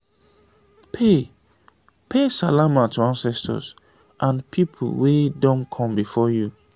pay pay salama to ancestors and pipo wey done come before you